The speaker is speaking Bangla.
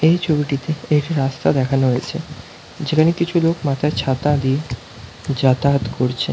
এই ছবিটিতে একটি রাস্তা দেখানো হয়েছে যেখানে কিছু লোক মাথায় ছাতা দিয়ে যাতায়াত করছে ।